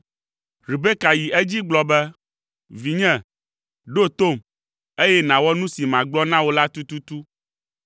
Rebeka yi edzi gblɔ be, “Vinye, ɖo tom, eye nàwɔ nu si magblɔ na wò la tututu.